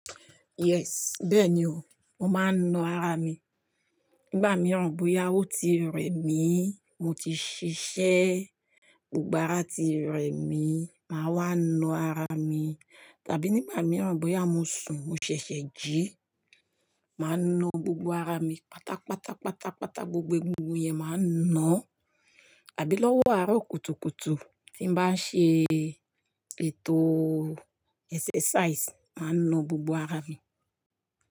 Yes, bẹ́ẹ̀ni o, mo máa ń na ara mi. Nígbà mí rò bóyá o ti rẹ mi, mo ti ṣiṣẹ́, gbogbo ara ti rẹ mi, màá wá na ara mi. Tàbí nígbà mí ran bóyá mo sùn, mo ṣẹ̀ṣẹ̀ jí, màá na gbogbo ara mi pátápátá, pátápátá, gbogbo egungun yẹn màá na. Àbí lọ́wọ́ àárọ̀ kùtùkùtù tí ń bá ń ṣe ètò exercise, màá na gbogbo ara mi.